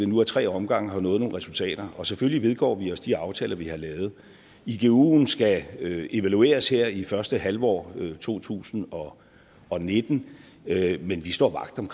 nu ad tre omgange har nået nogle resultater selvfølgelig vedgår vi os de aftaler vi har lavet iguen skal evalueres her i første halvår af to tusind og nitten men vi står vagt om